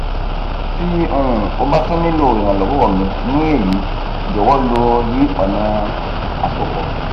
ti um o ba tun nilo iranlọwọ mi ni eyi jọwọ lo yi ọna asopọ